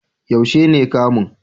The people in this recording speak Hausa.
Yaushe ne kamun?